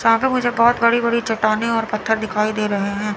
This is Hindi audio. साथ ही मुझे बहोत बड़ी बड़ी चट्टानें और पत्थर दिखाई दे रहे हैं।